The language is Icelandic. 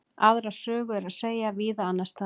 Aðra sögu er að segja víða annars staðar.